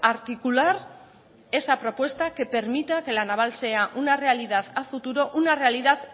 articular esa propuesta que permita que la naval sea una realidad a futuro una realidad